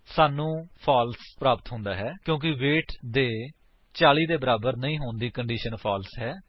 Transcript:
ਸਾਨੂੰ ਫਾਲਸ ਪ੍ਰਾਪਤ ਹੁੰਦਾ ਹੈ ਕਿਉਂਕਿ ਵੇਟ ਦੇ 40 ਦੇ ਬਰਾਬਰ ਨਹੀਂ ਹੋਣ ਦੀ ਕੰਡੀਸ਼ਨ ਫਾਲਸ ਹੈ